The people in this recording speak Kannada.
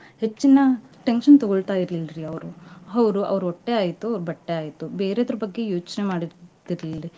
ಹೆಚ್ಚಿನ tension ತುಗೊಳ್ತಾಯಿರ್ಲಿಲ್ರಿ ಅವ್ರು ಅವ್ರು ಅವ್ರ ಹೊಟ್ಟೆ ಆಯ್ತು ಅವ್ರ ಬಟ್ಟೆ ಆಯ್ತು ಬೇರೇದ್ರ ಬಗ್ಗೆ ಯೋಚನೆ ಮಾಡ್ತಿರ್ಲಿಲ್ರಿ.